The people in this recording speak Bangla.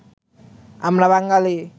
আমরা বাঙালি